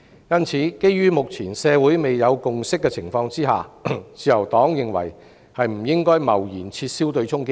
因此，基於目前社會未有共識，自由黨認為不應該貿然撤銷對沖機制。